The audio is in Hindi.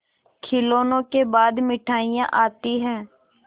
खिलौनों के बाद मिठाइयाँ आती हैं